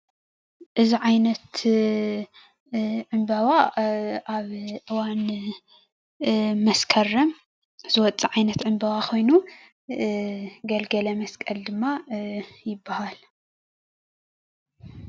እዚ ዓይነት ዕምበባ አብ እዋን መስከረም ዝወፅእ ዓይነት ዕምበባ ኾይኑ ገልገለመስቀል ድማ ይባህል ፡፡